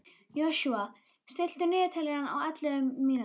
Joshua, stilltu niðurteljara á ellefu mínútur.